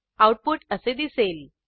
output असे दिसेल